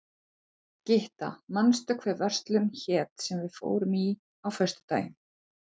Gytta, manstu hvað verslunin hét sem við fórum í á föstudaginn?